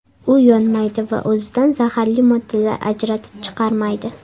U yonmaydi va o‘zidan zaharli moddalar ajratib chiqarmaydi.